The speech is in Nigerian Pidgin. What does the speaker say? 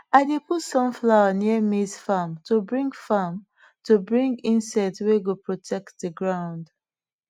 i dey put sunflower near maize farm to bring farm to bring insects wey go protect the ground